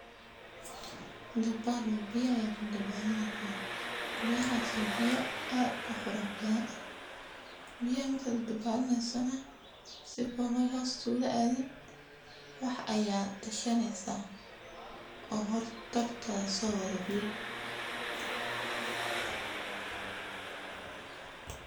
Dabal waya biyo aya kudabalaneysa biyahas o biyo ad u quruxbadan biyo marka kudabalaneyso sifa ay hos kula aadin wax aya gashaneysa o hortada sowada biyaha.